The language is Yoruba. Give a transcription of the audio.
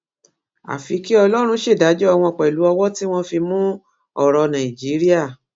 àfi kí ọlọrun ṣèdájọ wọn pẹlú ọwọ tí wọn fi mú ọrọ nàìjíríà